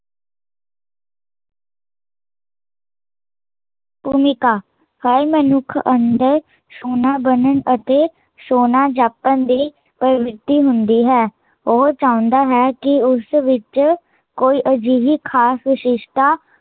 ਭੂਮਿਕਾ ਹਰ ਮਨੁੱਖ ਅੰਦਰ ਸੋਹਣਾ ਬਣਨ ਅਤੇ ਸੋਹਣਾ ਜਾਪਣ ਦੀ ਪਰਵਿਰਤੀ ਹੁੰਦੀ ਹੈ ਉਹ ਚਾਹੁੰਦਾ ਹੈ ਕੀ ਉਸ ਵਿੱਚ, ਕੋਈ ਅਜਿਹੀ ਖਾਸ ਵਿਸ਼ੇਸ਼ਤਾ